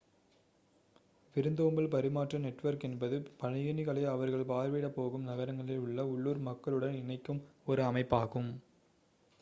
விருந்தோம்பல் பரிமாற்ற நெட்வொர்க் என்பது பயணிகளை அவர்கள் பார்வையிடப்போகும் நகரங்களில் உள்ள உள்ளூர் மக்களுடன் இணைக்கும் ஒரு அமைப்பாகும்